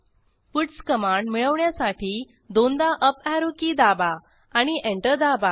puts command मिळवण्यासाठी दोनदा up arrow key दाबा आणि एंटर दाबा